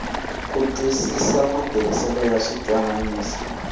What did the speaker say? ku twisisa matirhisele ya switwananisi